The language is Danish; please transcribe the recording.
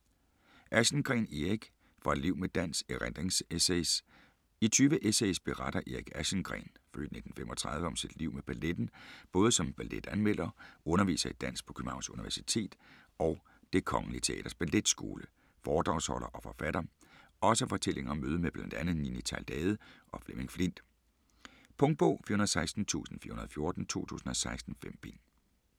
Aschengreen, Erik: Fra et liv med dans: erindringsessays I 20 essays beretter Erik Aschengreen (f. 1935) om sit liv med balletten. Både som balletanmelder, underviser i dans på Københavns Universitet og Det Kongelige Teaters Balletskole, foredragsholder og forfatter. Også fortællinger om mødet med bl.a. Nini Theilade og Flemming Flindt. Punktbog 416414 2016. 5 bind.